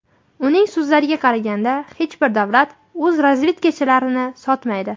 Uning so‘zlariga qaraganda, hech bir davlat o‘z razvedkachilarini sotmaydi.